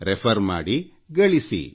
refer ಮಾಡಿ ಗಳಿಸಿ